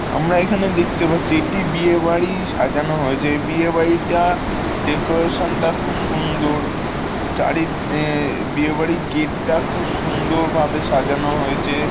আমরা এখানে দেখতে পাচ্ছি এটি বিয়ে বাড়ি সাজানো হয়েছে। এই বিয়ে বাড়িটা ডেকোরেশন টা খুব সুন্দর চারি ঈয়ে বিয়ের বাড়ীর গেট -টা খুব সুন্দর ভাবে সাজানো হয়েছে।